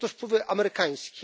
Są też wpływy amerykańskie.